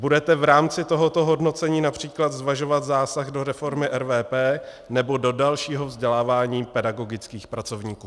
Budete v rámci tohoto hodnocení například zvažovat zásah do reformy RVP nebo do dalšího vzdělávání pedagogických pracovníků?